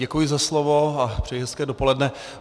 Děkuji za slovo a přeji hezké dopoledne.